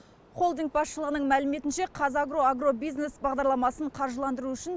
холдинг басшылығының мәліметінше қазагро агробизнес бағдарламасын қаржыландыру үшін